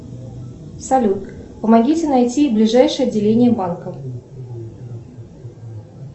салют помогите найти ближайшее отделение банка